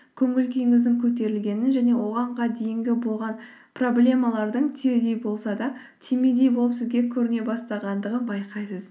көңіл күйіңіздің көтерілгенін және оғанға дейінгі болған проблемалардың түйедей болса да түймедей болып сізге көріне бастағандығын байқайсыз